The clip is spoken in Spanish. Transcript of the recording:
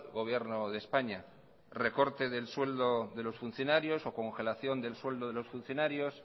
gobierno de españa recorte del sueldo de los funcionarios o congelación del sueldo de los funcionarios